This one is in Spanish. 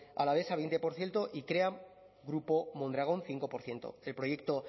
alavesa veinte por ciento y krean grupo mondragón cinco por ciento el proyecto